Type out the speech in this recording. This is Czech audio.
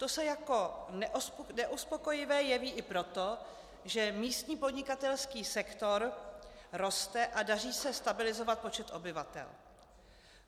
To se jako neuspokojivé jeví i proto, že místní podnikatelský sektor roste a daří se stabilizovat počet obyvatel.